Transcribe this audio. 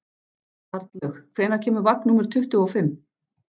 Arnlaug, hvenær kemur vagn númer tuttugu og fimm?